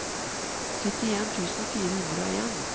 syttien tusen fire hundre og en